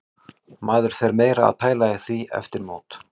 Maður fer meira að pæla í því eftir mót.